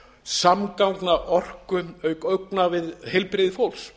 samgangna orku auk augna við heilbrigði fólks